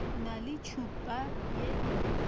na le tšhupa ye e